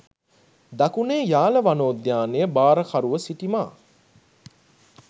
දකුණේ යාල වනෝද්‍යානය භාරකරුව සිටි මා